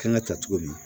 Kan ka ta cogo di